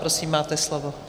Prosím, máte slovo.